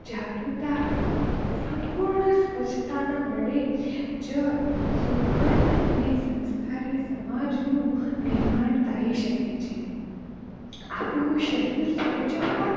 જાગુતતા આવશે સંપૂર્ણં સ્વચ્છતા વડે જ સુગંધ અન સંસ્કારી સમાજ નું નિર્માણ થઇ શકે છે આપણું શરીર સ્વચ્છ હોય.